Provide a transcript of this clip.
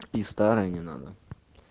и старая не надо